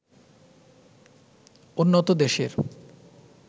উন্নত দেশের